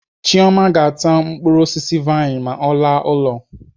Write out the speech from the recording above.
Chioma ga-ata mkpụrụ osisi vain ma ọ laa ụlọ.